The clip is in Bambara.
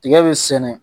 Tiga bɛ sɛnɛ